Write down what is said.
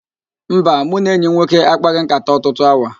Mba, mụ na enyi m nwoke a kpaghị nkàtá ọtụtụ awa